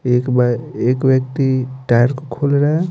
एक बार एक व्यक्ति टायर खोल रहा है ।